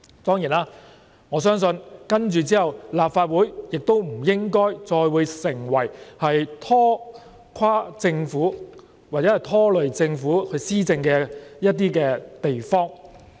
當然，我相信接着立法會亦不應再會成為拖垮或拖累政府施政的地方。